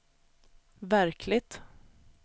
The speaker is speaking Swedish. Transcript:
verkligt